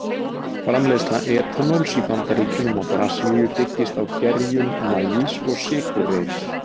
Framleiðsla etanóls í Bandaríkjunum og Brasilíu byggist á gerjun maís og sykurreyrs.